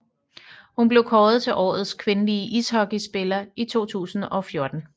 Hun blev kåret til Årets kvindelige ishockeyspiller i 2014